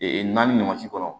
naani ɲɔgɔncɛ kɔnɔ